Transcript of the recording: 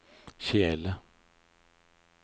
kjele